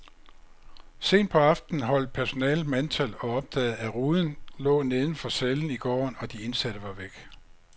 Sent på aftenen holdt personalet mandtal og opdagede, at ruden lå neden for cellen i gården, og de indsatte var væk.